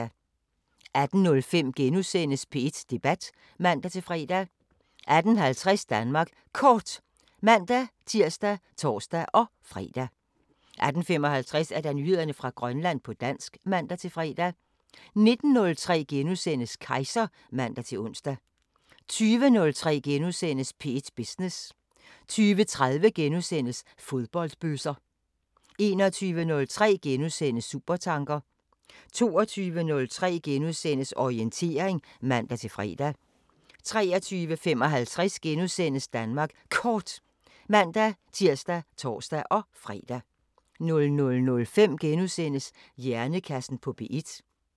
18:05: P1 Debat *(man-fre) 18:50: Danmark Kort (man-tir og tor-fre) 18:55: Nyheder fra Grønland på dansk (man-fre) 19:03: Kejser *(man-ons) 20:03: P1 Business * 20:30: Fodboldbøsser * 21:03: Supertanker * 22:03: Orientering *(man-fre) 23:55: Danmark Kort *(man-tir og tor-fre) 00:05: Hjernekassen på P1 *